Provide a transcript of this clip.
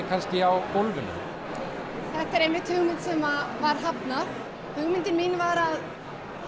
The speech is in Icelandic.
kannski á gólfinu þetta er hugmynd sem var hafnað hugmyndin mín var